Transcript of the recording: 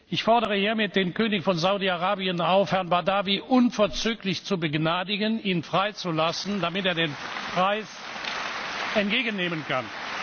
Ich fordere hiermit den König von Saudi Arabien auf, Herrn Badawi unverzüglich zu begnadigen und ihn freizulassen, damit der den Preis entgegennehmen kann.